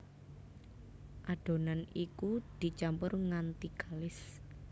Adonan iku dicampur nganti kalis